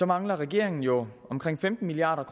mangler regeringen jo omkring femten milliard